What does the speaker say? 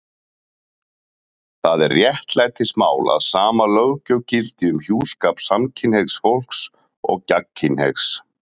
Það er réttlætismál að sama löggjöf gildi um hjúskap samkynhneigðs fólks og gagnkynhneigðs.